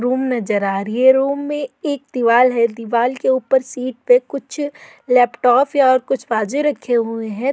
Room नज़र आ रही है रूम में एक दीवाल है दीवाल के ऊपर शीट पे कुछ लैपटॉप या और कुछ बाजे रखे हुए हैं।